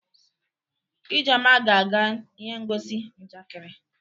Ijeoma ga-aga ihe ngosi njakịrị.